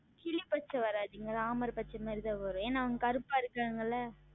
கிளி பச்சை வராது Ramar பச்சை மாதிரி தான் வரும் ஏனால் அவர்கள் கருப்பாக உள்ளார்கள் அல்லவா